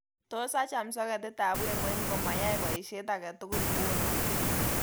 Tos acham soketitab wemoi ngomayae boishet agetugul nguno